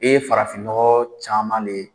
E ye farafin nɔgɔ caman de